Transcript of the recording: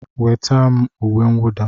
Nweta m uwe mwụda!